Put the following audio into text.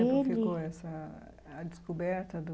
ele. Quanto tempo ficou essa a descoberta do...